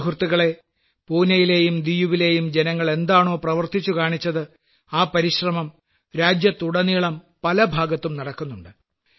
സുഹൃത്തുക്കളേ പൂനയിലെയും ദിയുവിലെയും ജനങ്ങൾ എന്താണോ പ്രവർത്തിച്ചു കാണിച്ചത് ആ പരിശ്രമം രാജ്യത്തുടനീളം പല ഭാഗത്തും നടക്കുന്നുണ്ട്